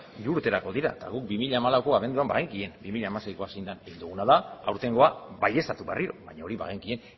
hiru urterako dira eta guk bi mila hamalauko abenduan bagenekien bi mila hamaseikoa zein den egin duguna da aurtengoa baieztatu berriro baina hori bagenekien